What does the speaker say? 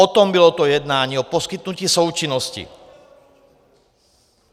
O tom bylo to jednání, o poskytnutí součinnosti.